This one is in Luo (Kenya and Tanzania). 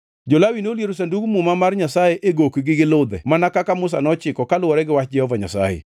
Jo-Lawi noliero Sandug Muma mar Nyasaye e gokgi gi ludhe, mana kaka Musa nochiko kaluwore gi wach Jehova Nyasaye.